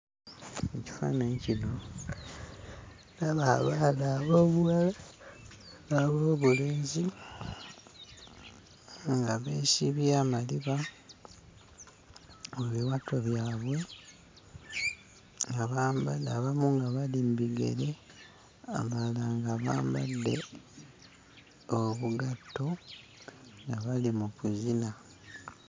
Mu kifaananyi kino, ndaba abaana ab'obuwala n'ab'obulenzi nga beesibye amaliba mu biwato byabwe, abamu nga bali mu bigere, abalala nga bambadde obugatto nga bali mu kuzina.